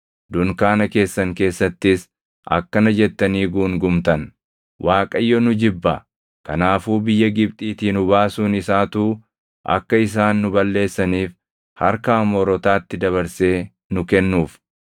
Dunkaana keessan keessattis akkana jettanii guungumtan; “ Waaqayyo nu jibba; kanaafuu biyya Gibxiitii nu baasuun isaatuu akka isaan nu balleessaniif harka Amoorotaatti dabarsee nu kennuuf.